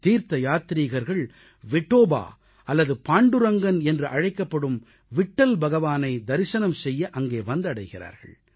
தீர்த்த யாத்ரீகர்கள் விட்டோபா அல்லது பாண்டுரங்கன் என்று அழைக்கப்படும் விட்டல் பகவானை தரிசனம் செய்ய அங்கே வந்தடைகிறார்கள்